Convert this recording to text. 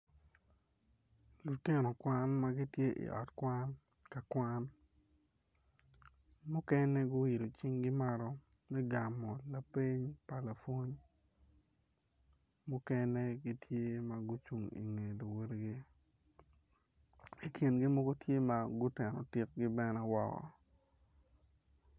Lutino Kwan ma gitye I ot Kwan ka kwan mukene guiolo cingge mukene I kingi tye mogo tye ma guteno tikgin bene o